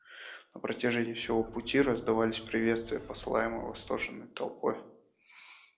на протяжении всего пути раздавались приветствия посылаемые восторженной толпой